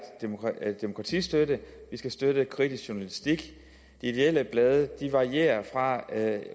demokratistøtte vi skal støtte kritisk journalistik ideelle blade varierer fra